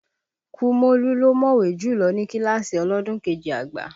Kúmólú ló mọ̀wé jùlọ ní kíláàsì ọlọ́dún kejì àgbà